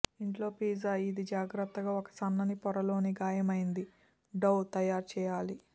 ఇంట్లో పిజ్జా ఇది జాగ్రత్తగా ఒక సన్నని పొర లోకి గాయమైంది డౌ తయారు చేయాలి